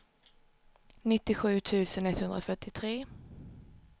nittiosju tusen etthundrafyrtiotre